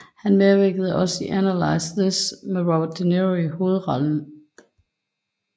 Han medvirkede også i Analyze This med Robert De Niro i hovedrollen